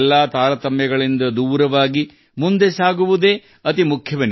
ಎಲ್ಲಾ ತಾರತಮ್ಯವನ್ನು ಮೀರಿ ಯಾತ್ರೆಯೇ ಇಲ್ಲಿ ಅತಿಮುಖ್ಯ